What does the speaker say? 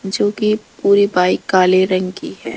जो की पूरी बाइक काले रंग की है।